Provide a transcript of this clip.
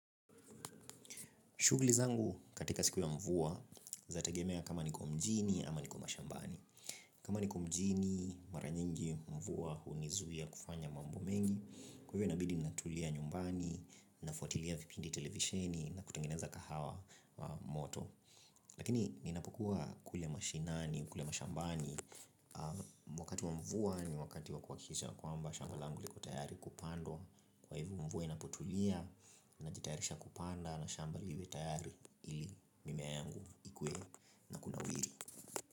Shughli zangu katika siku ya mvua zinategemea kama niko mjini ama niko mashambani. Kama niko mjini mara nyingi mvua hunizuia kufanya mambo mengi kwa hivyo inabidi natulia nyumbani, nafuatilia vipindi televisheni na kutengeneza kahawa moto. Lakini ninapokuwa kule mashinani, kule mashambani. Wakati wa mvua ni wakati wa kuhakikisha kwamba shamba langu liko tayari kupandwa. Kwa hivyo mvua inapotulia, najitayarisha kupanda na shamba liwe tayari. Ili mimea yangu ikue na kunawiri.